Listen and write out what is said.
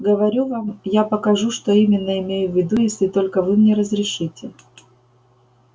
говорю вам я покажу что именно имею в виду если только вы мне разрешите